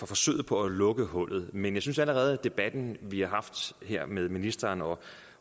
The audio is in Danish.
forsøg på at lukke hullet men jeg synes allerede at debatten vi har haft her med ministeren og